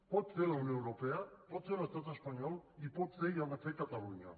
pot fer la unió europea pot fer l’estat espanyol i pot fer i ha de fer catalunya